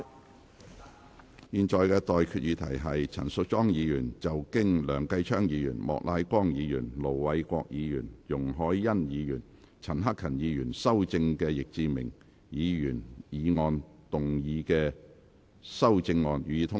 我現在向各位提出的待議議題是：陳淑莊議員就經梁繼昌議員、莫乃光議員、盧偉國議員、容海恩議員及陳克勤議員修正的易志明議員議案動議的修正案，予以通過。